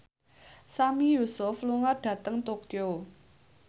Sami Yusuf lunga dhateng Tokyo